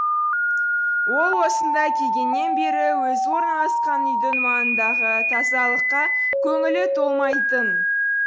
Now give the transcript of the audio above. ол осында келгеннен бері өзі орналасқан үйдің маңындағы тазалыққа көңілі толмайтын